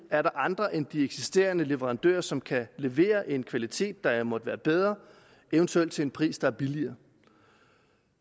er andre end de eksisterende leverandører som kan levere en kvalitet der måtte være bedre eventuelt til en pris der er billigere